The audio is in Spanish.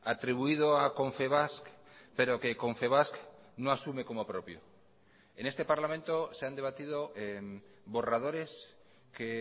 atribuido a confebask pero que confebask no asume como propio en este parlamento se han debatido borradores que